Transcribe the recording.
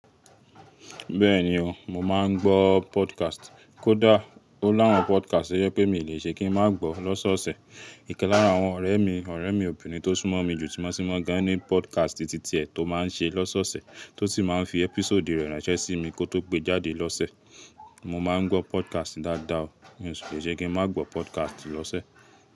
Bẹ́ẹ̀ni o, mo máa ń gbọ́ podcast. Kódà ó lá àwọn podcast to jẹ pé mi lè ṣe kí n má gbọ́ lọ́sọ̀ọ̀sẹ̀. Ikan lara àwọn ọ̀rẹ́ mi, ọ̀rẹ́ mi obìnrin tó súnmọ́ mi jù tí mo sì mọ̀ gani ní podcast titi ẹ tó máa ń ṣe lọ́sọ̀ọ̀sẹ̀ tó ti máa ń fi episode rẹ̀ ránṣẹ́ sí mi kó tó gbé jáde lọ́sẹ̀. Mo máa ń gbọ́ podcast dáadáa o, mi ò sì le ṣe kí n má gbọ́ podcast lọ́sẹ̀